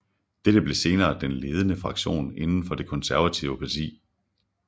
Dette blev senere den ledende fraktion inden for det konservative parti